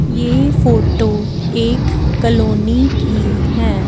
ये फोटो एक कॉलोनी की हैं।